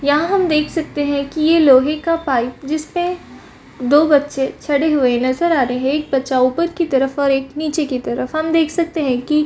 यहाँ हम देख सकते है की एक लोहे का पाइप जिसपे दो बच्चे चढ़े हुए नजर आ रहे है एक बच्चा ऊपर की तरफ और एक निचे की तरफ हम देख सकते है की --